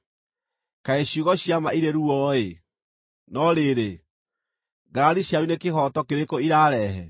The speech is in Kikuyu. Kaĩ ciugo cia ma irĩ ruo-ĩ! No rĩrĩ, ngarari cianyu nĩ kĩhooto kĩrĩkũ irarehe?